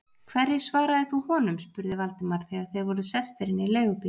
Hverju svaraðir þú honum? spurði Valdimar, þegar þeir voru sestir inn í leigubíl.